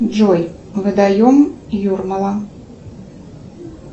джой водоем юрмала